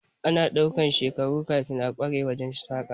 Ana ɗaukan shekaru kafin a kware wajen yin saƙa